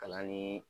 Kalan ni